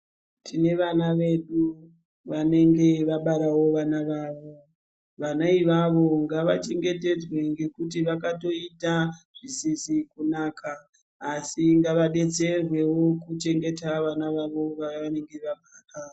Tine vana vedu vanenge vabarawo vana vawo, vana iwawo ngavachengetedzwe ngekuti vakatoita zvinhu zvisizi kunaka asi ngavabetserwewo kuchengeta vana vanenge vabara.